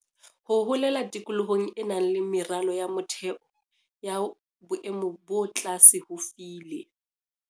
Ho holela tikolohong e nang le meralo ya motheo ya boemo bo tlase ho file